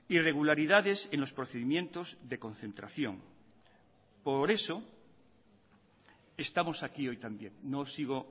irregularidades en los procedimientos de concentración por eso estamos aquí hoy también no sigo